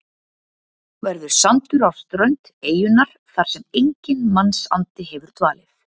Verður sandur á strönd eyjunnar þar sem enginn mannsandi hefur dvalið.